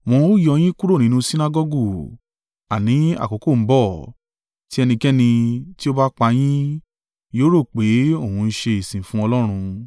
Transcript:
Wọ́n ó yọ yín kúrò nínú Sinagọgu: àní, àkókò ń bọ̀, tí ẹnikẹ́ni tí ó bá pa yín, yóò rò pé òun ń ṣe ìsìn fún Ọlọ́run.